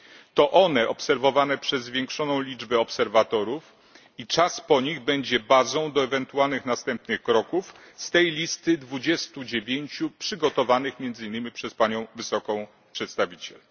To one, obserwowane przez zwiększoną liczbę obserwatorów, a także okres po nich będą bazą do ewentualnych następnych kroków z listy dwudziestu dziewięciu działań przygotowanych między innymi przez wysoką przedstawiciel.